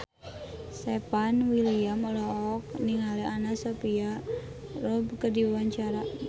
Stefan William olohok ningali Anna Sophia Robb keur diwawancara